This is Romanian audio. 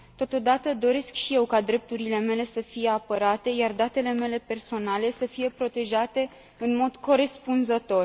Totodată, doresc și eu ca drepturile mele să fie apărate, iar datele mele personale să fie protejate în mod corespunzător.